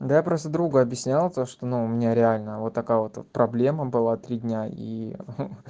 да я просто другу объяснял то что ну у меня реально вот такая вот проблема была три дня и ха-ха